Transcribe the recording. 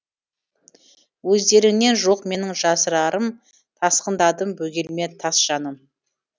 өздеріңнен жоқ менің жасырарым тасқындадым бөгелме тас жаным